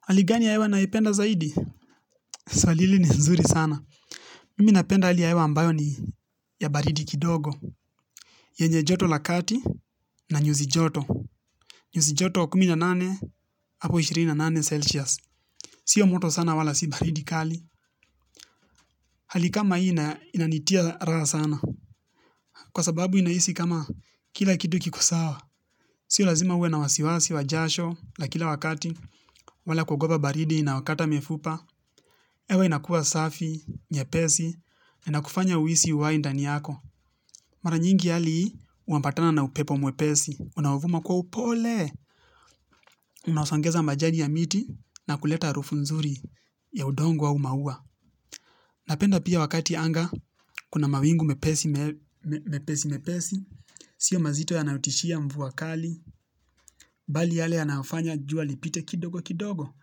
Hali gani ya hewa naipenda zaidi? Swali hili ni nzuri sana. Mimi napenda hali ya hewa ambayo ni ya baridi kidogo. Yenye joto la kati na nyuzi joto. Nyuzi joto kumi na nane hapo ishirini na nane celsius. Sio moto sana wala si baridi kali. Hali kama hii inanitia raha sana. Kwa sababu inahisi kama kila kitu kikosawa. Sio lazima uwe na wasiwasi wa jasho la kila wakati. Wala kuogopa baridi inayokata mifupa hewa inakua safi, nyepesi. Inakufanya uhisi uhai ndani yako. Mara nyingi hali hii unapatana na upepo mwepesi unaovuma kwa upole unaosongeza majani ya miti na kuleta harufu nzuri ya udongo au maua. Napenda pia wakati anga kuna mawingu mepesi mepesi mepesi. Sio mazito yanayotishia mvua kali bali yale yanaofanya jua lipite kidogo kidogo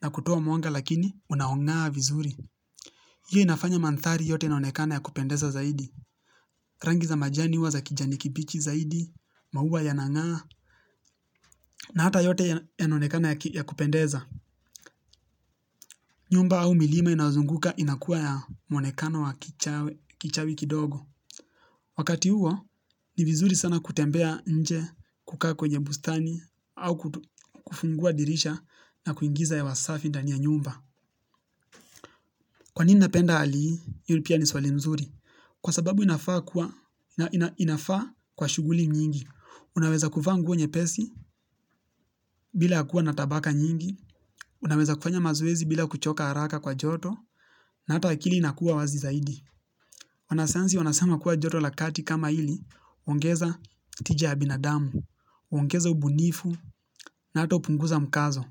na kutoa mwanga lakini unaongaa vizuri. Hiyo inafanya mandhari yote inaonekana ya kupendeza zaidi. Rangi za majani huwa za kijani kibichi zaidi, maua yanangaa, na hata yote yanaonekana ya kupendeza. Nyumba au milima inaozunguka inakuwa na muonekano wa kichawi kidogo. Wakati huo, ni vizuri sana kutembea nje kukaa kwenye bustani au kufungua dirisha na kuingiza hewa safi ndani ya nyumba. Kwa nini napenda hali hii? Hiyo pia ni swali nzuri. Kwa sababu inafaa kuwa shughuli nyingi. Unaweza kuvaa nguo nyepesi bila kuwa na tabaka nyingi. Unaweza kufanya mazoezi bila kuchoka haraka kwa joto na ata akili inakuwa wazi zaidi wanasayansi wanasema kuwa joto la kati kama hili huongeza tija ya binadamu, huongeza ubunifu na hata hupunguza mkazo.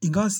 Ingawa.